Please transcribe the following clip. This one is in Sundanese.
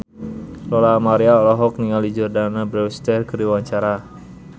Lola Amaria olohok ningali Jordana Brewster keur diwawancara